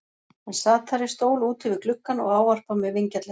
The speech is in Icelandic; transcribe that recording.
Hann sat þar í stól úti við gluggann og ávarpar mig vingjarnlega.